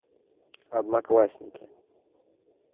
одноклассники